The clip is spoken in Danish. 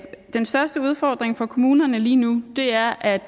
den største udfordring for kommunerne lige nu er at